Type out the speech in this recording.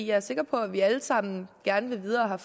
er sikker på at vi alle sammen gerne vil videre